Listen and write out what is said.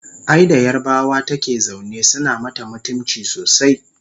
ai da yarbawa take zaune suna mata mutumci sosai